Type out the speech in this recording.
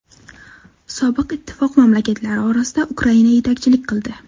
Sobiq ittifoq mamlakatlari orasida Ukraina yetakchilik qildi.